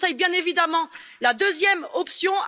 Je vous conseille bien évidemment la deuxième option.